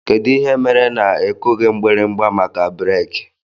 Kedụ ihe mere na ikughi mgbirimgba maka breeki?